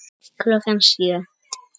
Klukkan sjö.